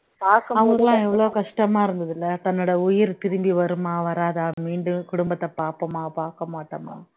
அவங்களுக்கு எல்லாம் எவ்வளவு கஷ்டமா இருந்தது இல்ல தன்னோட உயிர் திரும்பி வருமா வராதா மீண்டும் குடும்பத்தை பார்ப்போமா பார்க்க மாட்டோமா